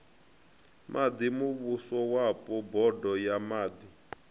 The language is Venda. maḓi muvhusowapo bodo ya maḓi